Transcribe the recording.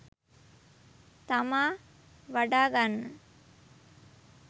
තමා වඩා ගන්න